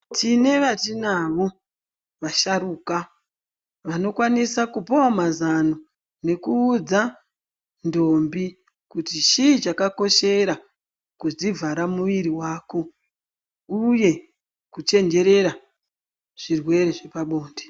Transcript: Tine vatinavo vasharuka vanokwanisa kupawo mazano nekuudza ntombi kuti chii chakoshera kudzivhara muviri wako uye kuchenjerera zvirwere zvepabonde.